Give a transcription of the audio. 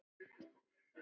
Ég var níu ára.